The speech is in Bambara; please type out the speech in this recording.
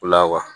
O la wa